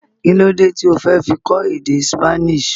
Kílódé tí o fi fẹ́ kọ́ èdè Spanish.